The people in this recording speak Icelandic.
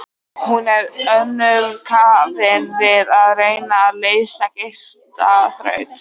Hún var önnum kafin við að reyna að leysa gestaþraut.